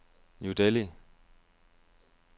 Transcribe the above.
New Delhi